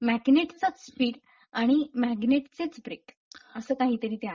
मॅग्नेटचाच speed speed आणि मॅग्नेटचेच brake. असं काहीतरी ते आहे.